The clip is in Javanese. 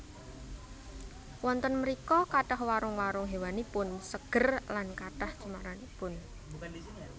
Wonten mrika kathah warung warung hawanipun seger lan kathah cemaranipun